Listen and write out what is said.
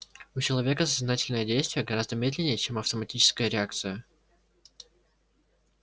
у человека сознательное действие гораздо медленнее чем автоматическая реакция